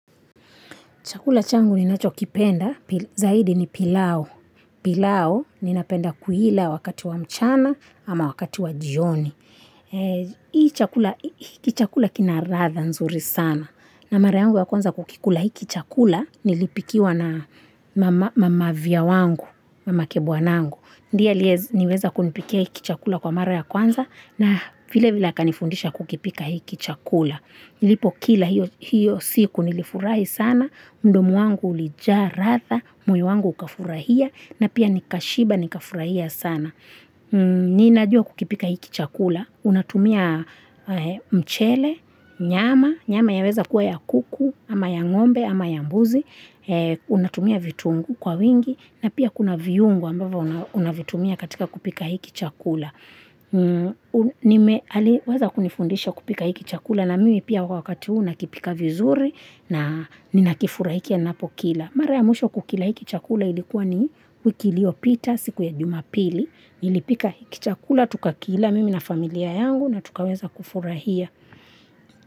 Chakula changu ni nacho kipenda, zaidi ni pilao. Pilau ninapenda kuila wakati wa mchana ama wakati wa jioni. Hiki chakula kina ladha nzuri sana. Na mara yangu ya kwanza kukikula hiki chakula nilipikiwa na mavya wangu, mamake bwanangu. Ndiye aliyeweza kunipikia hiki chakula kwa mara ya kwanza na vile vile akanifundisha kukipika hiki chakula. Nilipo kila hiyo siku nilifurahi sana, mdomi wangu ulijaa ladha moyo wangu ukafurahia, na pia nikashiba nikafurahia sana. Niinajua kukipika hiki chakula, unatumia mchele, nyama, nyama yaweza kua ya kuku, ama ya ng'ombe, ama ya mbuzi, unatumia vitunguu kwa wingi, na pia kuna viungo ambavyo unavitumia katika kupika hiki chakula. Aliweza kunifundisha kupika hiki chakula na mimi pia wakati huu nakipika vizuri na ninakifurahikia napokila Mara ya mwisho kukila hiki chakula ilikuwa ni wiki ilio pita siku ya jumapili Nilipika hiki chakula tukakila mimi na familia yangu na tukaweza kufurahia.